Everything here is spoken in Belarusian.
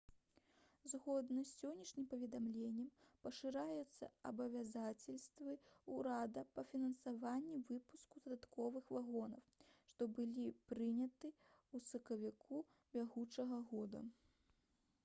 згодна з сённяшнім паведамленнем пашыраюцца абавязацельствы ўрада па фінансаванні выпуску дадатковых вагонаў што былі прыняты ў сакавіку бягучага года